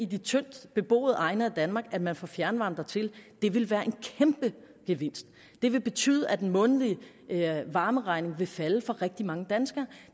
de tyndtbeboede egne af danmark at man får fjernvarme dertil det vil være en kæmpegevinst det vil betyde at den månedlige varmeregning vil falde for rigtig mange danskere